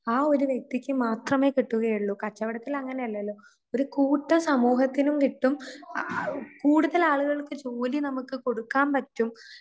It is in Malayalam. ആ ഒരു വ്യക്തിക്ക് മാത്രമേ കിട്ടുകയുള്ളു. കച്ചവടത്തിൽ അങ്ങനെയല്ലല്ലൊ. ഒരു കൂട്ടം സമൂഹത്തിനും കിട്ടും ആഉ കൂടുതൽ ആളുകൾക്ക് ജോലി നമുക്ക് കൊടുക്കാൻ പറ്റും.